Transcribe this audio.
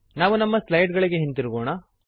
ನಾವು ನಮ್ಮ ಸ್ಲೈಡ್ ಗಳಿಗೆ ಹಿಂದಿರುಗೋಣ